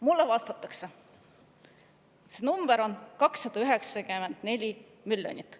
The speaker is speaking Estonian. Mulle vastati, et see number on 294 miljonit.